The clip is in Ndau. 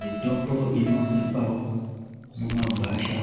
Mitombo inowanikwa mumangwasha